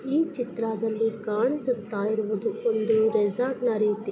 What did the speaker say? ಈ ಚಿತ್ರದಲ್ಲಿ ಕಾಣಿಸುತ್ತಾ ಇರುವುದು ಒಂದು ರೆಸಾರ್ಟ್ ನ ರೀತಿ--